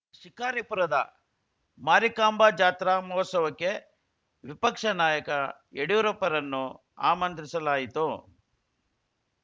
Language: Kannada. ಶಿಕಾರಿಪುರದ ಮಾರಿಕಾಂಬ ಜಾತ್ರಾ ಮಹೋತ್ಸವಕ್ಕೆ ವಿಪಕ್ಷ ನಾಯಕ ಯಡಿಯೂರಪ್ಪರನ್ನು ಆಮಂತ್ರಿಸಲಾಯಿತು